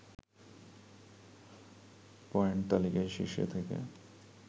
point তালিকায় শীর্ষে থেকে